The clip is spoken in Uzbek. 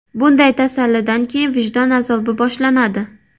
Bunday tasallidan keyin vijdon azobi boshlanadi.